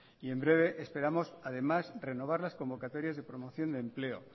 y en breve esperamos además renovar las convocatorias y promoción de empleo